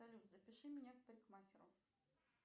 салют запиши меня к парикмахеру